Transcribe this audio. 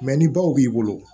ni baw b'i bolo